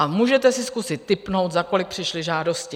A můžete si zkusit tipnout, za kolik přišly žádosti?